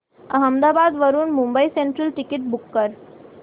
अहमदाबाद वरून Mumbai central ticket book कर